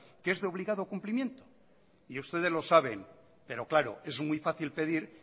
que es de obligado cumplimiento y ustedes lo saben pero claro es muy fácil pedir